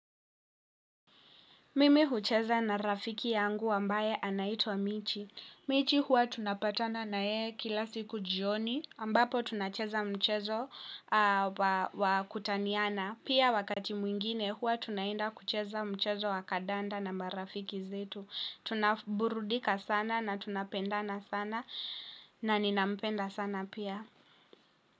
Mimi hucheza na rafiki yangu ambaye anaitwa Michi. Michi huwa tunapatana na yeye kila siku jioni ambapo tunacheza mchezo wa kutaniana. Pia wakati mwingine huwa tunaenda kucheza mchezo wa kandanda na marafiki zetu. Tunaburudika sana na tunapendana sana na ninampenda sana pia.